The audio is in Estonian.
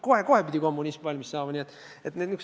Kohe-kohe pidi kommunism valmis saama!